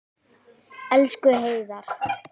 Elsku Heiðar.